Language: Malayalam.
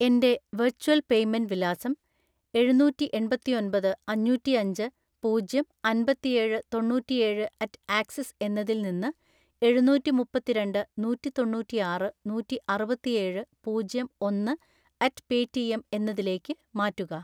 എൻ്റെ വെർച്വൽ പേയ്‌മെന്റ് വിലാസം എഴുനൂറ്റിഎണ്‍പത്തിയൊൻപത് അഞ്ഞൂറ്റിഅഞ്ച് പൂജ്യം അൻപത്തിഏഴ് തൊണ്ണൂറ്റിഏഴ്‌ അറ്റ് ആക്സിസ് എന്നതിൽ നിന്ന് എഴുനൂറ്റിമുപ്പത്തിരണ്ട്‍ നൂറ്റിതൊണ്ണൂറ്റിആറ് നൂറ്റിഅറുപത്തിഏഴ് പൂജ്യം ഒന്ന് അറ്റ് പേറ്റിഎം എന്നതിലേക്ക് മാറ്റുക.